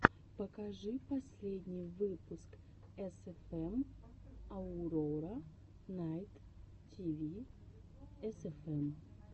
покажи последний выпуск эсэфэм аурора найт тиви эсэфэм